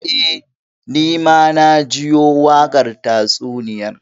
Eh, Ni ma na jiyo wakar tatsuniyar.